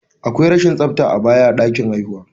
Akwai rashin tsafta a baya a ɗakin haihuwa.